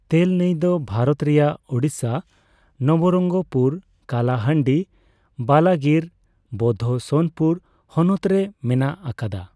ᱛᱮᱞ ᱱᱟᱹᱭ ᱫᱚ ᱵᱷᱟᱨᱚᱛ ᱨᱮᱭᱟᱜ ᱳᱲᱤᱥᱥᱟ ᱱᱚᱵᱚᱨᱚᱯᱝᱜᱚᱯᱩᱨ, ᱠᱟᱞᱟᱦᱟᱰᱤ, ᱵᱟᱞᱟᱜᱤᱨ, ᱵᱳᱫᱷᱳ ᱥᱳᱱᱯᱩᱨ ᱦᱚᱱᱚᱛ ᱨᱮ ᱢᱮᱱᱟᱜ ᱟᱠᱟᱫᱟ ᱾